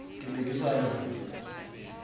ke ne ke sa lwane